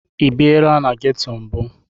Ị biera na geto mbụ?